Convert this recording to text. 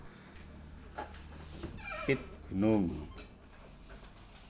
Pit Gunung